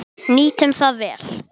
Nýtum það vel.